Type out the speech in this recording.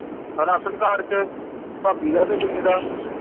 ration card ਚ ਭਾਭੀ ਦਾ ਤੇ ਮੁੰਡੇ ਦਾ